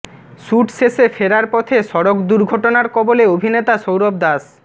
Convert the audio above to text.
shoot শেষে ফেরার পথে সড়ক দুর্ঘটনার কবলে অভিনেতা সৌরভ দাস